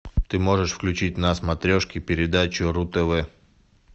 ты можешь включить на смотрешке передачу ру тв